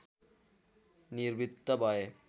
निवृत्त भए